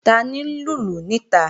Tani ń lùlù níta?